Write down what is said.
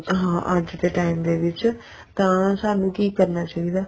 ਹਾਂ ਅੱਜ ਦੇ time ਦੇ ਵਿੱਚ ਤਾਂ ਸਾਨੂੰ ਕੀ ਕਰਨਾ ਚਾਹੀਦਾ